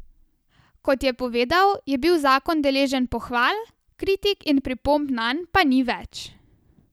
Kot je povedal, je bil zakon deležen pohval, kritik in pripomb nanj pa ni več.